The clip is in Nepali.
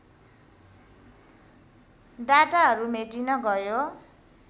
डाटाहरू मेटिन गयो